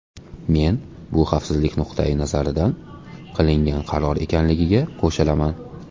Men bu xavfsizlik nuqtai nazaridan qilingan qaror ekanligiga qo‘shilaman.